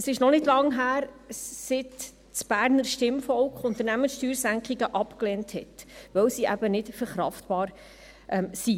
Es ist noch nicht lange her, seit das Berner Stimmvolk Unternehmenssteuersenkungen abgelehnt hat, weil sie eben nicht verkraftbar sind.